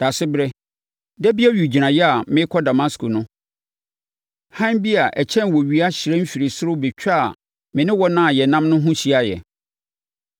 Daasebrɛ, da bi owigyinaeɛ a merekɔ Damasko no, hann bi a ɛkyɛn owia hyerɛn firii ɔsoro bɛtwaa me ne wɔn a yɛnam no ho hyiaeɛ.